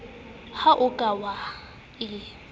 ha o ka wa e